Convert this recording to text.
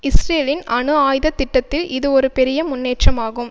இஸ்ரேலின் அணு ஆயுத திட்டத்தில் இது ஒரு பெரிய முன்னேற்றமாகும்